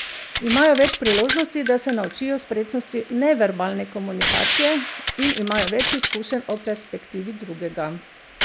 Imajo več priložnosti, da se naučijo spretnosti neverbalne komunikacije, in imajo več izkušenj o perspektivi drugega.